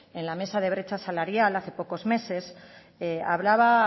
en la mesa de brecha salarial hace pocos meses hablaba